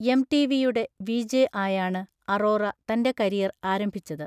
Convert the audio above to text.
എംടിവിയുടെ VJ ആയാണ് അറോറ തൻ്റെ career ആരംഭിച്ചത്.